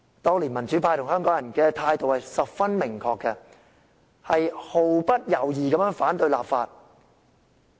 當年，民主派與香港人的態度十分明確，毫不猶豫地反對立法。